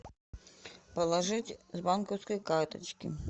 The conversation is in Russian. положить с банковской карточки